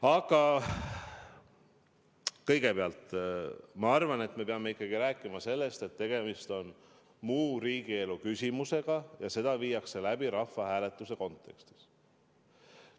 Aga kõigepealt me peame minu arvates rääkima sellest, et tegemist on muu riigielu küsimusega ja asi viidaks läbi rahvahääletuse kontekstis.